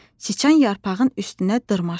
Sıçan yarpağın üstünə dırmaşdı.